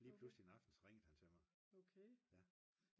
lige pludselig en aften så ringede han til mig